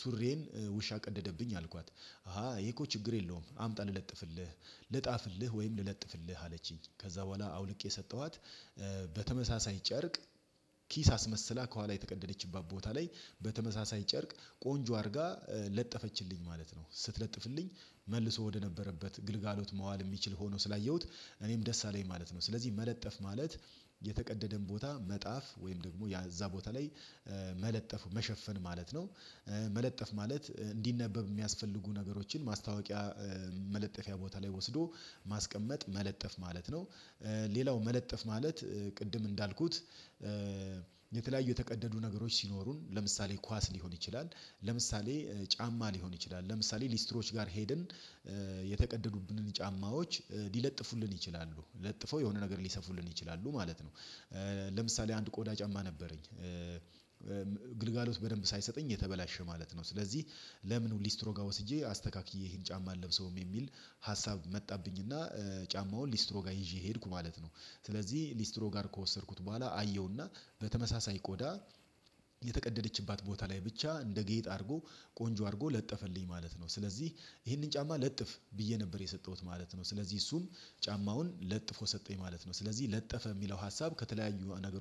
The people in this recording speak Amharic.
ሱሪዬን ውሻ ቀደደብኝ አልኳት። አሃ ይሄ እኮ ችግር የለውም አምጣ ልለጥፍልህ ልጣፍልህ ወይም ልለጥፍልህ አለችኝ። ከዛ በኋላ አውልቄ ሰጠኋት። በተመሳሳይ ጨርቅ ኪስ አስመስላ ከኋላ የተቀደደችባት ቦታ ላይ በተመሳሳይ ጨርቅ ቆንጆ አድርጋ ለጠፈችልኝ ማለት ነው። ስትለጥፍልኝ መልሶ ወደነበረበት ግልጋሎት መዋል የሚችል ሆኖ ስላየሁት እኔም ደስ አለኝ ማለት ነው። ስለዚህ መለጠፍ ማለት የተቀደደን ቦታ መጣፍ ወይም ደግሞ ያ እዛ ቦታ ላይ መለጠፍ መሸፈን ማለት ነው። መለጠፍ ማለት እንዲነበብ የሚያስፈልጉ ነገሮችን ማስታወቂያ መለጠፊያ ቦታ ላይ ወስዶ ማስቀመጥ መለጠፍ ማለት ነው። ሌላው መለጠፍ ማለት ቅድም እንዳልኩት የተለያዩ የተቀደዱ ነገሮች ሲኖሩን ለምሳሌ ኳስ ሊሆን ይችላል። ለምሳሌ ጫማ ሊሆን ይችላል ለምሳሌ ሊስትሮች ጋር ሄድን የተቀደዱብንን ጫማዎች ሊለጥፉልን ይችላሉ ለጥፈው የሆነ ነገር ሊሰፉልን ይችላሉ ማለት ነው። ለምሳሌ አንድ ቆዳ ጫማ ነበረኝ። ግልጋሎት በደንብ ሳይሰጠኝ የተበላሸ ማለት ነው። ስለዚህ ለምን ሊስትሮጋ ወስጄ አስተካክዬ ይሄን ጫማ አለብሰውም የሚል ሀሳብ መጣብኝ እና ጫማውን ሊስትሮ ጋር ይዤ ሄድኩ ማለት ነው። ስለዚህ ሊስትሮ ጋር ከወሰድኩት በኋላ አየውና በተመሳሳይ ቆዳ የተቀደደችባት ቦታ ላይ ብቻ እንደ ጌጥ አድርጎ ቆንጆ አድርጎ ለጠፈልኝ ማለት ነው። ስለዚህ ይሄንን ጫማ ለጥፍ ብዬ ነበር የሰጠሁት ማለት ነው። ስለዚህ እሱን ጫማውን ለጥፎ ሰጠኝ ማለት ነው። ስለዚህ ለጠፈ የሚለው ሀሳብ ከተለያዩ ነገር